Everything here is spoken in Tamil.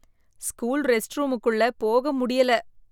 ஸ்கூல் ரெஸ்ட் ரூமுக்குள்ள போக முடியல.